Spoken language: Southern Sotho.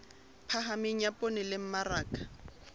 phahameng ya poone le mmaraka